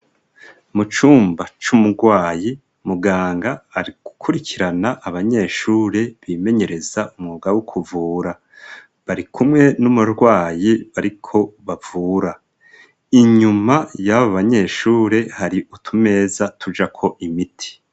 Mu cumba c'umurwayi muganga ari gukurikirana abanyeshure bimenyereza umwuga wo kuvura ,bari kumwe n'umurwayi bariko bavura, inyuma yaba banyeshure hari utumeza tujako imiti.